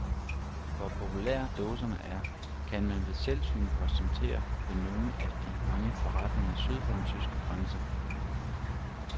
Hvor populære dåserne er, kan man ved selvsyn konstatere ved nogle af de mange forretninger syd for den tyske grænse.